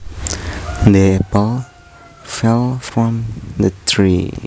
The apple fell from the tree